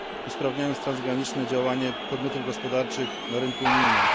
usprawniając transgraniczne działanie podmiotów gospodarczych na rynku unijnym.